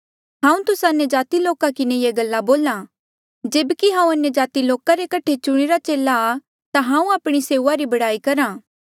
हांऊँ तुस्सा अन्यजाति लोका किन्हें ये गल्ला बोल्हा जेब्की हांऊँ अन्यजाति लोका रे कठे चुणिरे चेले आ ता हांऊँ आपणी सेऊआ री बड़ाई करहा